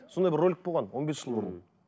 сондай бір ролик болған он бес жыл бұрын